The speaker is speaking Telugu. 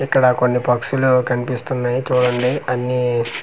ఇక్కడ కొన్ని పక్షులు కనిపిస్తున్నాయి చూడండి అన్నీ .]